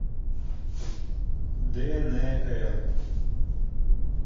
днр